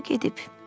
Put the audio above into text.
O gedib.